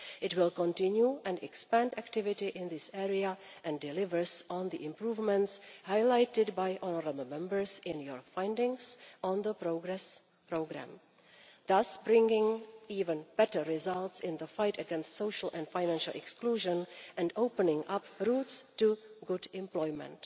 It will continue and expand activity in this area and deliver on the improvements highlighted by honourable Members in their findings on the Progress programme, thus bringing even better results in the fight against social and financial exclusion and opening up routes to good employment.